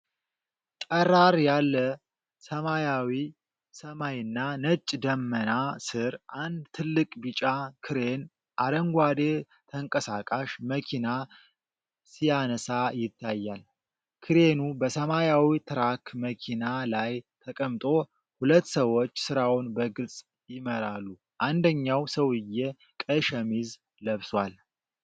ጠራር ያለ ሰማያዊ ሰማይና ነጭ ደመና ስር፣ አንድ ትልቅ ቢጫ ክሬን አረንጓዴ ተንቀሳቃሽ መኪና ሲያነሳ ይታያል። ክሬኑ በሰማያዊ ትራክ መኪና ላይ ተቀምጦ፣ ሁለት ሰዎች ሥራውን በግልጽ ይመራሉ። አንደኛው ሰውዬ ቀይ ሸሚዝ ለብሷል።